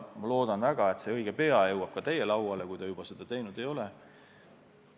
Loodan väga, et see õige pea jõuab ka teie lauale, kui juba jõudnud ei ole.